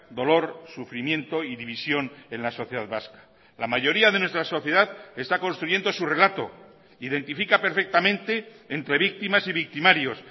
dolor sufrimiento y división en la sociedad vasca la mayoría de nuestra sociedad está construyendo su relato identifica perfectamente entre víctimas y victimarios